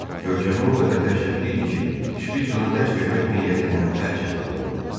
Görkəmi o qədər dəhşətli idi ki, Şpiç ona dəhşət vermək niyyətindən əl çəkməli oldu.